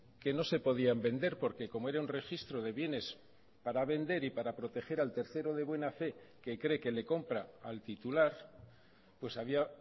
que no se podían vender porque como era un registro de bienes para vender y para proteger al tercero de buena fe que cree que le compra al titular pues había